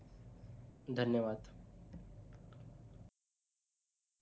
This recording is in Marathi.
धन्यवाद